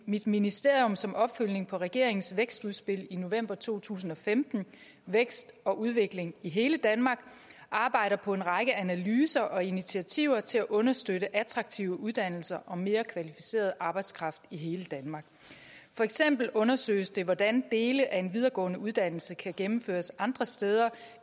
mit ministerium som opfølgning på regeringens vækstudspil i november to tusind og femten vækst og udvikling i hele danmark arbejder på en række analyser og initiativer til at understøtte attraktive uddannelser og mere kvalificeret arbejdskraft i hele danmark for eksempel undersøges det hvordan dele af en videregående uddannelse kan gennemføres andre steder